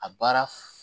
A baara